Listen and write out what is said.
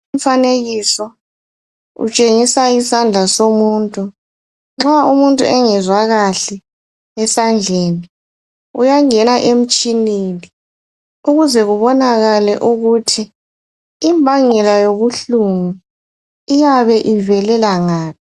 Umfanekiso, utshengisa isandla somuntu. Nxa umuntu engezwa kahle, esandleni, uyangena emtshineni ukuze kubonakale ukuthi imbangela yobuhlungu iyabe ivelela ngaphi.